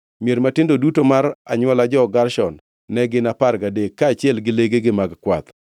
Mier matindo duto mar anywola jo-Gershon ne gin apar gadek, kaachiel gi legegi mag kwath.